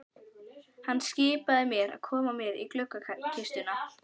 Hann skipaði mér að koma mér úr gluggakistunni.